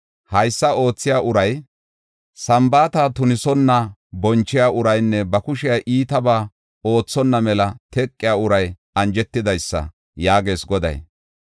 Haysa oothiya uray, Sambaata tunisonna bonchiya uraynne ba kushey iitabaa oothonna mela teqiya uray anjetidaysa” yaagees Goday.